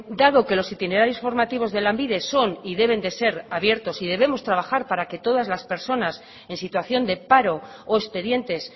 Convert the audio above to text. dado que los itinerarios formativos de lanbide son y deben de ser abiertos y debemos trabajar para que todas las personas en situación de paro o expedientes